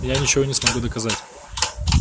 я ничего не смогу доказать